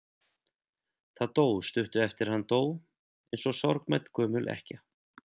Það dó stuttu eftir að hann dó, eins og sorgmædd gömul ekkja.